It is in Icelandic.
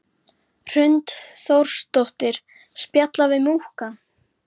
Hrund Þórsdóttir: Spjalla við múkkann?